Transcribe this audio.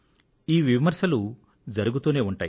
ఈ విమర్శలు జరుగుతూనే ఉంటాయి